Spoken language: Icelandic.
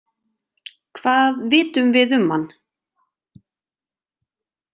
Hvað vitum við um hann?